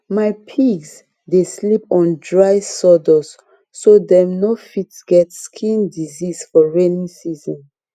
my pigs dey sleep on dry sawdust so dem no fit get skin disease for rainy season